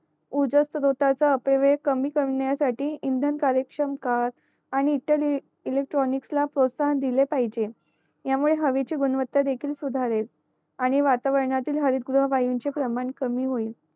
ऊर्जा स्त्रोतःचा अपवय कमी करण्यासाठी इंधन कार्यश्रम काळ आणि इतर एकेकट्रोनिकस ला प्रोत्साहन दिले पाहिजे ह्या मुळे हवेची गुणवत्ता सुधारेल आणि वातावरणातील हरिगृह वायूंची प्रमाण बाटल्या कमी होईल